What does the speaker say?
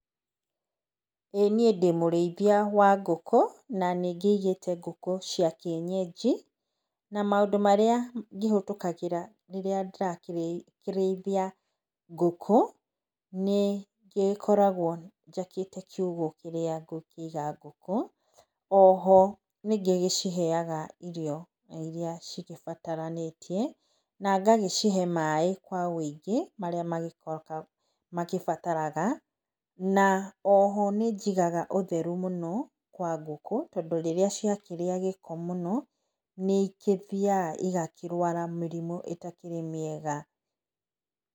Ĩĩ niĩ ndĩ mũrĩithia wa ngũkũ, na nĩ ngĩigĩte ngũku cia kĩenyenji na maũndũ marĩa ndĩrakĩhetũkĩra rĩrĩa ndĩrakĩrĩithia ngũkũ, nĩ ngĩgĩkoragwo njakĩte kiugũ kĩrĩa ngũkĩiga ngũkũ. Oho nĩngĩgĩciheaga irio irĩa cigĩbataranĩtie na ngagĩcihe maĩ kwa ũingĩ marĩa magĩbataraga, na oho nĩ njigaga ũtheru mũno wa ngũkũ, tondũ rĩrĩa ciakĩrĩa gĩko mũno nĩ igĩthiaga igakĩrwara mĩrimũ ĩtakĩrĩ mĩega.